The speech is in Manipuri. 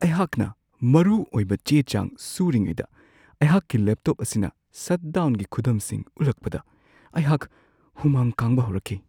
ꯑꯩꯍꯥꯛꯅ ꯃꯔꯨꯑꯣꯏꯕ ꯆꯦ-ꯆꯥꯡ ꯁꯨꯔꯤꯉꯩꯗ ꯑꯩꯍꯥꯛꯀꯤ ꯂꯦꯞꯇꯣꯞ ꯑꯁꯤꯅ ꯁꯠ ꯗꯥꯎꯟꯒꯤ ꯈꯨꯗꯝꯁꯤꯡ ꯎꯠꯂꯛꯄꯗ ꯑꯩꯍꯥꯛ ꯍꯨꯃꯥꯡ ꯀꯥꯡꯕ ꯍꯧꯔꯛꯈꯤ ꯫